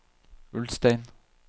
Ulstein